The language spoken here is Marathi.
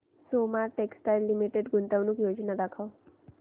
सोमा टेक्सटाइल लिमिटेड गुंतवणूक योजना दाखव